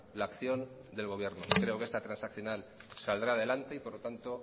la acción del gobierno creo que esta transaccional saldrá adelante y por lo tanto